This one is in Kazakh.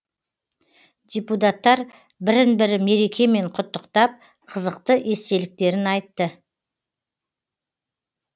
депутаттар бірін бірі мерекемен құттықтап қызықты естеліктерін айтты